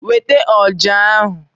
Weta ọja ahu!